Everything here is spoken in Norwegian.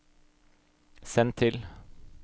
send til